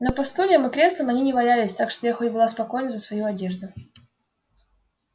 но по стульям и креслам они не валялись так что я хоть была спокойна за свою одежду